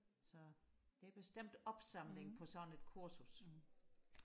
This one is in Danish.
så det er bestemt opsamling på sådan et kursus